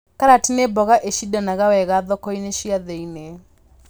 Karati nĩ mboga ĩcindanaga wega thoko-inĩ cia thĩiniĩ